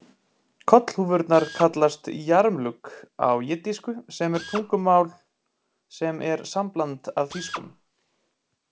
Kollhúfurnar kallast yarmulke á jiddísku sem er tungumál sem er sambland af þýskum.